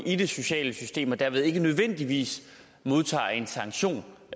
i det sociale system og dermed ikke nødvendigvis modtager en sanktion